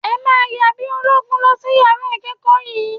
Ẹ máa yan bí ológun lọ sí yàrá ìkẹ́ẹ̀kọ̀ yín!